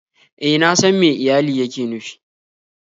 E, na san me iyali yake nufi